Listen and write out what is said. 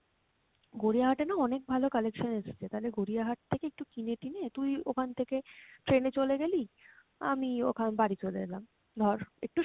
গড়িয়া হাটে না অনেক ভালো collection এসছে, তালে গড়িয়া হাট থেকেএকটু কিনে টিনে তুই ওখান থেকে train এ চলে গেলি, আমি ওখান বাড়ি চলে এলাম ধর, একটু